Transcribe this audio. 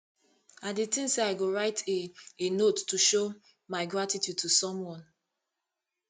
i dey think say i go write a a note to show my gratitude to someone